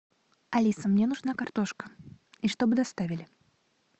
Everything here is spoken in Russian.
алиса мне нужна картошка и чтобы доставили